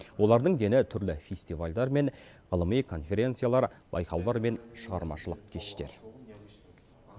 олардың дені түрлі фестивальдар мен ғылыми конференциялар байқаулар мен шығармашылық кештер